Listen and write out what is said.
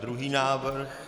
Druhý návrh.